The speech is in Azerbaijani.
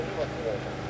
Dəmir yoxdur.